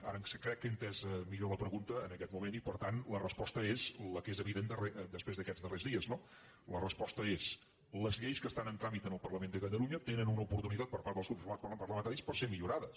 ara crec que he entès millor la pregunta en aquest moment i per tant la resposta la que és evi·dent després d’aquests darrers dies no la resposta és les lleis que estan en tràmit en el parlament de ca·talunya tenen una oportunitat per part dels grups par·lamentaris de ser millorades